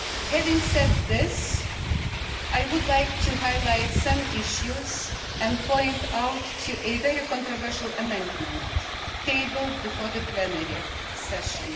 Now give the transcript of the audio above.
Having said this, I would like to highlight some issues and point out a very controversial amendment tabled before the plenary session.